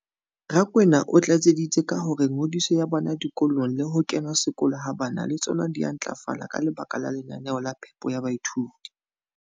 Rakwena o tlatseditse ka hore ngodiso ya bana dikolong le ho kena sekolo ha bana le tsona di a ntlafala ka lebaka la lenaneo la phepo ya baithuti.